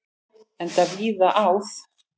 Enda víða áð.